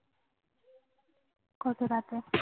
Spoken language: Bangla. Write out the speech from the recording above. কত রাতে?